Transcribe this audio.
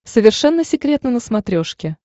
совершенно секретно на смотрешке